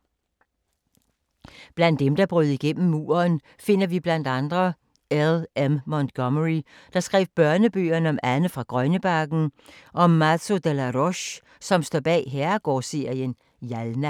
Blandt dem, der brød igennem muren finder vi blandt andre L.M. Montgomery, der skrev børnebøgerne om Anne fra Grønnebakken og Mazo De la Roche, som står bag herregårdsserien Jalna.